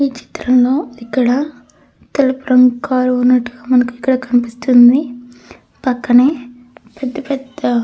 ఈ చిత్రంలో ఇక్కడ తెలుపు రంగు కారు ఉన్నట్టుగా మనకు ఇక్కడ కనిపిస్తుంది. పక్కనే పెద్ద పెద్ద--